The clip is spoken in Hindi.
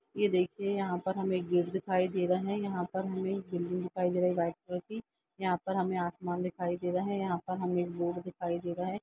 ये देखिये यहाँ पर हमें गेट दिखाई दे रहा है यहाँ पर हमें बिल्डिंग दिखाई दे रही है व्हाइट कलर की। यहाँ पर हमें आसमान दिखाई दे रहा है यहाँ पर हमें एक बोर्ड दिखाई दे रहा है।